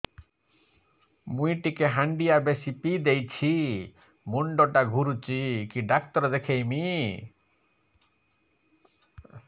ମୁଇ ଟିକେ ହାଣ୍ଡିଆ ବେଶି ପିଇ ଦେଇଛି ମୁଣ୍ଡ ଟା ଘୁରୁଚି କି ଡାକ୍ତର ଦେଖେଇମି